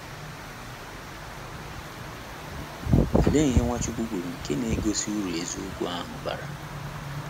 Olee ihe Nwachukwu kwuru nke na - egosi uru eziokwu ahụ bara?